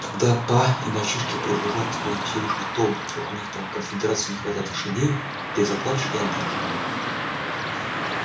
когда па и мальчишки прожужжат тебе во все уши о том как у них там в конфедерации не хватает лошадей ты заплачешь и отдашь